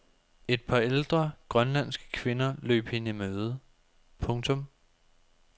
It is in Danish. Et par ældre grønlandske kvinder løb hende i møde. punktum